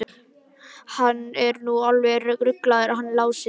Hann er nú alveg ruglaður hann Lási.